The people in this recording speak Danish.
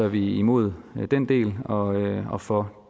vi imod den del og og for